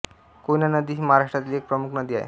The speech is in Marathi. कोयना नदी ही महाराष्ट्रातील एक प्रमुख नदी आहे